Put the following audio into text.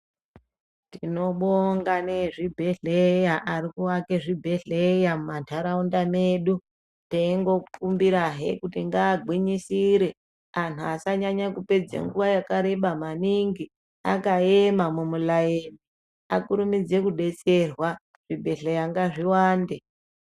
Tinobonga ngeezvibhedhlera ari kuake zvibhedhlera munharaunda medu teikumbira hee kuti ngaagwinyisire antu asanyanye kupedza nguwa yakareba maningi akaema muraini akurumidze kudetserwa. Zvibhedhlera ngazviwande